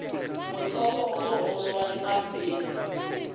mothopo o mogolo wa pampiri